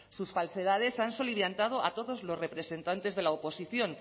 sus falsedades han soliviantado a todos los representantes de la oposición